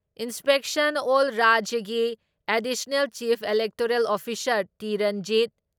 Inspection ꯑꯦꯜ ꯔꯥꯖ꯭ꯌꯒꯤ additional chief electoral officer T. Ranjit